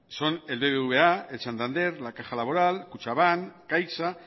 son el bbva el santander la caja laboral kutxabank caixa